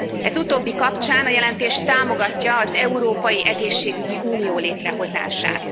Ez utóbbi kapcsán a jelentés támogatja az európai egészségügyi unió létrehozását.